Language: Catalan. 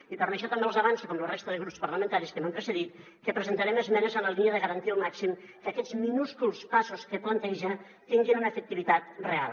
i per això també els avanço com la resta de grups parlamentaris que m’han precedit que presentarem esmenes en la línia de garantir al màxim que aquests minúsculs passos que planteja tinguin una efectivitat real